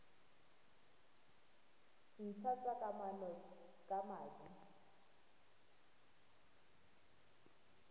ntlha tsa kamano ka madi